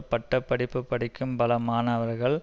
பட்ட படிப்பு படிக்கும் பல மாணவர்கள்